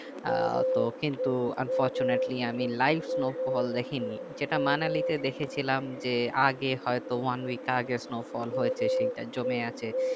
আহ তো কিন্তু unfortunately আমি live snowfall দেখেনি যেটা মানালিতে দেখেছিলাম যে আগে হয়তো অনেক আগে snowfall হয়েছে সেইটা জমে আছে